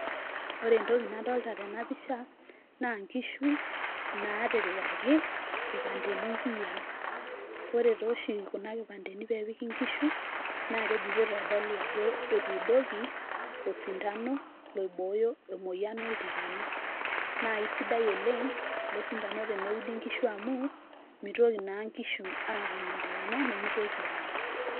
Ore entoki nadolta tenapisha, na nkishu naatipikaki, nkipandeni nkiyiaa. Ore toshi kuna kipandeni pepiki nkishu, na keji pitodolu ajo etuudoki, oisindano, loibooyo emoyian oltikana. Na isidai oleng',ilo sindano teneudi nkishu amu, mitoki naa nkishu atum oltikana, nimitoki aae.